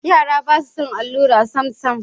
Yara ba su son allura samsam.